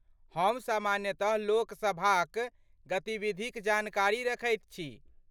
हम सामान्यतः लोक सभाक गतिविधिक जानकारी रखैत छी।